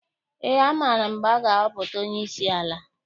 Ee, amaara m mgbe a ga-ahọpụta onyeisi ala.